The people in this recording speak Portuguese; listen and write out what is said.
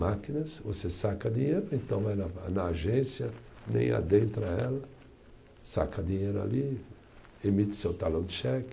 Máquinas, você saca dinheiro, então vai na na agência, nem adentra ela, saca dinheiro ali, emite seu talão de cheque.